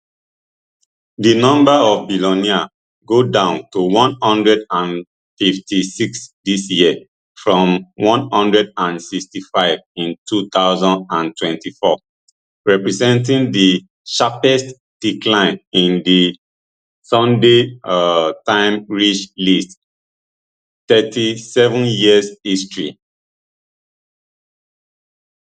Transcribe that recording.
di number of billionaires go down to one hundred and fifty-six dis year from one hundred and sixty-five in two thousand and twenty-four representing di sharpest decline in di sunday um times rich list thirty-seven years history